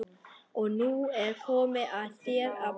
Og nú er komið að þér að borga.